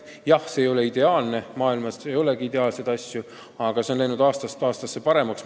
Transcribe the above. Jah, seis ei ole ideaalne – maailmas ei olegi ideaalseid asju –, aga asi on läinud aastast aastasse paremaks.